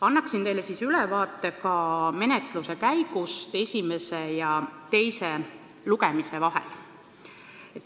Annan teile ülevaate ka menetluse käigust esimese ja teise lugemise vahel.